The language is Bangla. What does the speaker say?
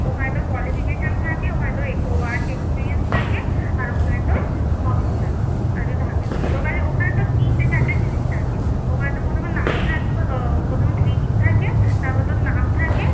ওখানে তোর qualification থাকে ওখানে তোর work experience থাকে আর ওখানে তোর hobbies থাকে আর কিছু থাকে না তোর কাছে ওখানে তোর তিনটে চারটে জিনিস থাকে ওখানে প্রথমে তোর নাম থাকবে আহ প্রথমে greetings থাকে তারপর তোর নাম থাকবে